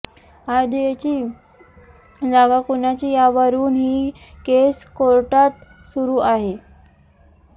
अयोध्येची जागा कोणाची यावरून ही केस कोर्टात सुरू आहे